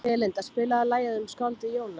Belinda, spilaðu lagið „Um skáldið Jónas“.